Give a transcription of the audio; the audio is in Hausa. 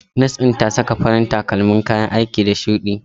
Nas ɗin ta saka farin kayan aiki da takalmi shudi.